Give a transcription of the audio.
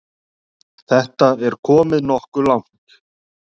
Þetta er komið nokkuð langt.